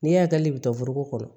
Ne hakili bɛ to foroko kɔnɔ